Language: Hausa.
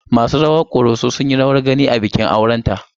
Masu rawar Ƙoroso sun yi rawar gani a bikin aurenta.